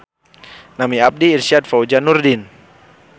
Nami abdi Irsyad Fauzan Nurdin.